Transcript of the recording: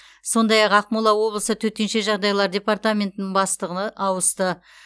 сондай ақ ақмола облысы төтенше жағдайлар департаментінің бастығы ауысты